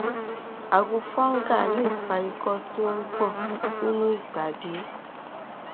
ààrùn fungal lè fa ikọ tí ó ń gbọn nínú ìbàdí